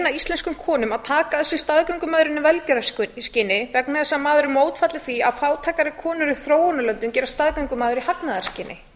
íslenskum konum að taka að sér staðgöngumæðrun í velgjörðarskyni vegna þess að maður er mótfallinn því að fátækari konur í þróunarlöndunum gerast staðgöngumæður í hagnaðarskyni